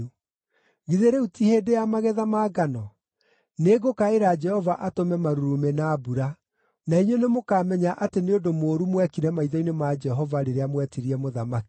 Githĩ rĩu ti hĩndĩ ya magetha ma ngano? Nĩngũkaĩra Jehova atũme marurumĩ na mbura. Na inyuĩ nĩmũkamenya atĩ nĩ ũndũ mũũru mwekire maitho-inĩ ma Jehova rĩrĩa mwetirie mũthamaki.”